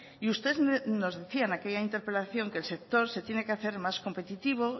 y usted nos decía en aquella interpelación que el sector se tiene que hacer más competitivo